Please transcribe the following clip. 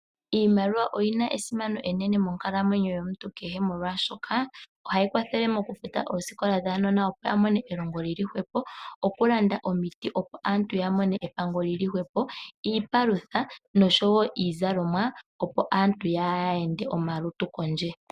Iimaliwa oyina esimano enene monkalamwenyo yomuntu kehe molwaashoka ohayi kwathele mokufuta elongo lyuunona opo yamone elongo lili hwepo ,okulanda omiti opo aantu yamone epango lili hwepo ,iipalutha noshowo iizalomwa opo aantu kaya ende omalutu kondje.